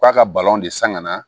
K'a ka balon de san ka na